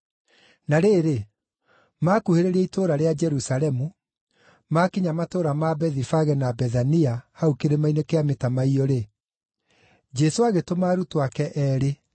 Na rĩrĩ, maakuhĩrĩria itũũra rĩa Jerusalemu, maakinya matũũra ma Bethifage na Bethania hau Kĩrĩma-inĩ kĩa Mĩtamaiyũ-rĩ, Jesũ agĩtũma arutwo ake eerĩ,